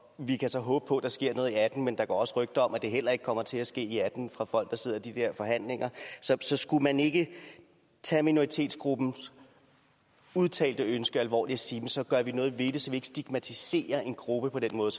vi kan så håbe på at der sker noget og atten men der går rygter om at det heller ikke kommer til at ske i og atten fra folk der sidder i de forhandlinger så skulle man ikke tage minoritetsgruppens udtalte ønske alvorligt og sige så gør vi noget ved det så vi ikke stigmatiserer en gruppe på den måde